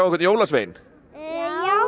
jólasvein já